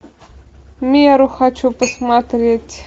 меру хочу посмотреть